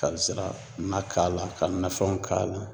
Ka zira na k'a la , ka nafɛnw k'a la